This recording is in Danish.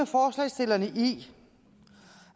forslagsstillerne i